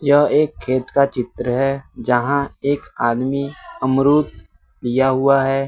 यह एक खेत का चित्र है जहां एक आदमी अमरुद लिया हुआ है।